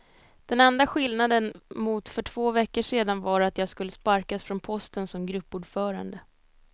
Den enda skillnaden mot för två veckor sedan var att jag skulle sparkas från posten som gruppordförande.